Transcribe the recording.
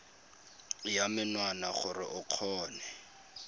ya menwana gore o kgone